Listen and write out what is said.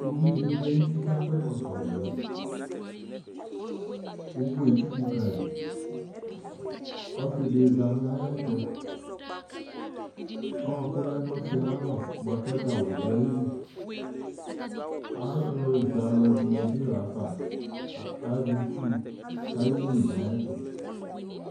uvi di vlɛ nu uti ka kɔ ɛkɔtɔ vɛ uvu étsuku kayi ɔsi di za na yɛtu ɔku lɛnu ɔsiɛ ayalɔ bua kɛ gawu du ayili alu zɛalu dini bi lafă kazɛ itsu kayéli nayɛtu